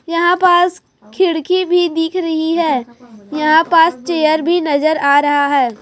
यहां पास खिड़की भी दिख रही है यहां पास चेयर भी नजर आ रहा है।